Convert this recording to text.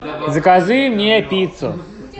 закажи мне пиццу